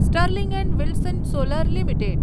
Sterling and Wilson Solar limited